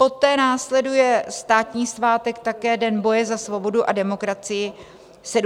Poté následuje státní svátek také, Den boje za svobodu a demokracii, 17. listopad.